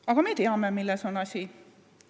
Aga me teame, milles on asi.